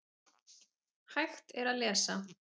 Hægt er að lesa